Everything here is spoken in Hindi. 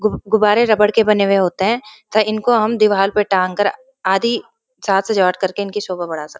गुब गुब्बरे रबड़ के बने हुए होते हैं तथा इनको हम दिवहाल पे टाँग कर आदि साज सजावट करके इनकी शोभा बढ़ा सक --